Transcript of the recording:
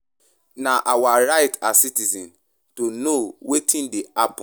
Na our rights as citizens to know wetin dey happen.